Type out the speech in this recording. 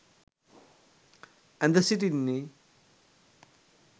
ඇඳ සිටින්නේ